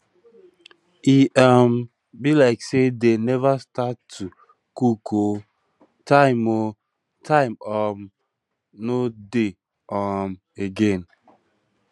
e um be like say dey never start to cook ooo time ooo time um no dey um again